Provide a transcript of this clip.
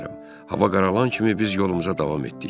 Hava qaralan kimi biz yolumuza davam etdik.